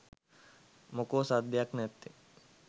මොකෝ සද්දයක් නැත්තෙ .?